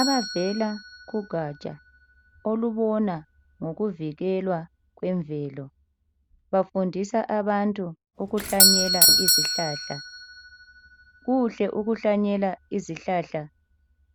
Abavela kugaja olubona ngokuvikelwa kwemvelo bafundisa abantu ukuhlanyela izihlahla. Kuhle ukuhlanyela izihlahla